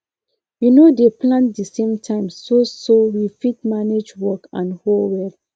we no dey plant the same time so so we fit manage work and hoe well